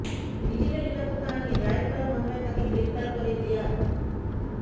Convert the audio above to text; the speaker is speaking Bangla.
ডিজিটাল নিরাপত্তা আইনে দায়ের করা মামলায় তাকে গ্রেফতার করে র্যাব